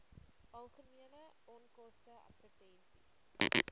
algemene onkoste advertensies